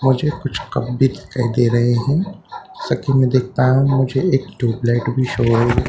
मुझे कुछ कप भी दिखाई दे रहे हैं सकी मैं देख पा रहा हूँ मुझे एक ट्यूब लाइट भी शो --